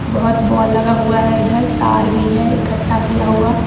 बहुत बॉल लगा हुआ है इधर तार भी इक्कठा किया हुआ ।